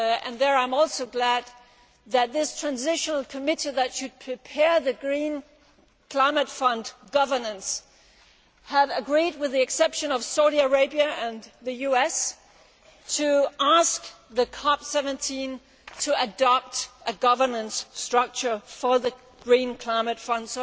There I am also glad that the transitional committee that should prepare Green Climate Fund governance has agreed, with the exception of Saudi Arabia and the US, to ask the COP 17 to adopt a governance structure for the Green Climate Fund.